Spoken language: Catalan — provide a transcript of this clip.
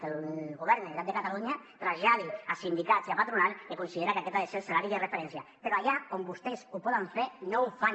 que el govern de la generalitat de catalunya traslladi a sindicats i a patronal que considera que aquest ha de ser el salari de referència però allà on vostès ho poden fer no ho fan